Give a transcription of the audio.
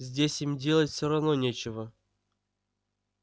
здесь им делать всё равно нечего